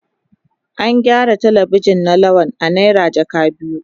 An gyaran Telebijin na Lawal a naira jaka biyu.